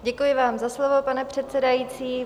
Děkuji vám za slovo, pane předsedající.